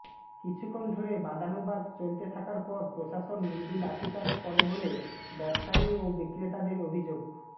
কিছুক্ষণ ধরে বাদানুবাদ চলতে থাকার পর প্রশাসন মৃদু লাঠিচার্জ করে বলে ব্যবসায়ী ও বিক্রেতাদের অভিযোগ